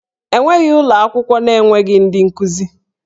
E nweghị ụlọ akwụkwọ na-enweghị ndị nkuzi